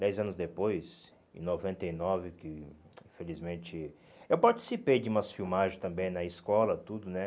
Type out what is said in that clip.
Dez anos depois, em noventa e nove, que, infelizmente... Eu participei de umas filmagens também na escola, tudo, né?